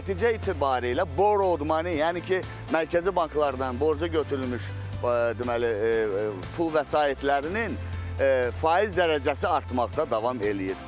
Nəticə etibarı ilə borc alma, yəni ki, mərkəzi banklardan borca götürülmüş deməli, pul vəsaitlərinin faiz dərəcəsi artmaqda davam eləyir.